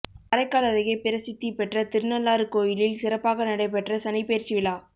காரைக்கால் அருகே பிரசித்தி பெற்ற திருநள்ளாறு கோயிலில் சிறப்பாக நடைபெற்ற சனிப்பெயர்ச்சி விழா